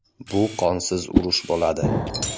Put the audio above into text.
Bu qonsiz urush bo‘ladi.